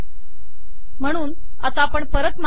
म्हणून आता आपण परत मागे जाऊ